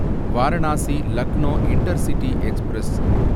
Varanasi Lucknow intercity express